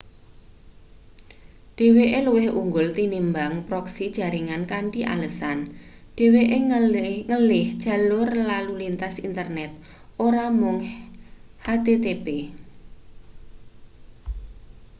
dheweke luwih unggul tinimbang proksi jaringan kanthi alesan dheweke ngelih jalur lalu lintas internet ora mung http